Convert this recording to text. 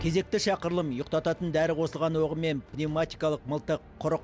кезекті шақырылым ұйықтатын дәрі қосылған оғымен пневаматикалық мылтық құрық